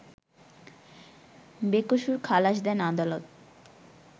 বেকসুর খালাস দেন আদালত